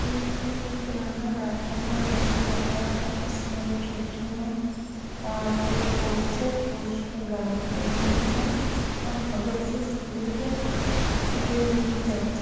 एक ये पुराना राजमहल जैसे लग रहा है इसमें खिड़कियाँ और फिर पोर्च है पोर्च में गाड़ी खड़ी हुई है और बगल से सीढ़ी है जो रूम में जाती है।